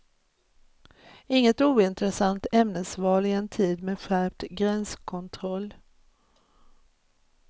Inget ointressant ämnesval i en tid med skärpt gränskontroll.